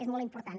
és molt important